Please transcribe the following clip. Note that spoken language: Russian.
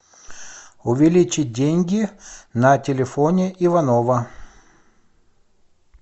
увеличить деньги на телефоне иванова